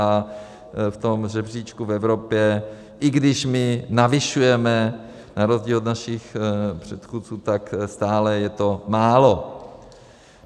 A v tom žebříčku v Evropě, i když my navyšujeme na rozdíl od našich předchůdců, tak stále je to málo.